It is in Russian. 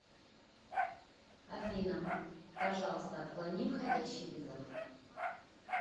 афина пожалуйста отклони входящий вызов